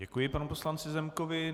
Děkuji panu poslanci Zemkovi.